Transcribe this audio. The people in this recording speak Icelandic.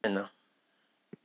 Sættast við mennina.